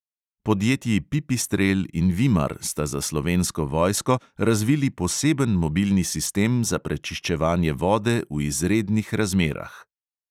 Podjetji pipistrel in vimar sta za slovensko vojsko razvili poseben mobilni sistem za prečiščevanje vode v izrednih razmerah.